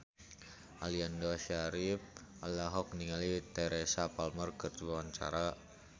Aliando Syarif olohok ningali Teresa Palmer keur diwawancara